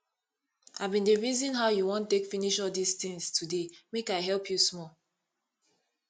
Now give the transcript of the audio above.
i bin dey reason how you wan take finish all dis things today make i help you small